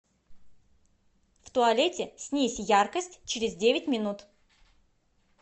в туалете снизь яркость через девять минут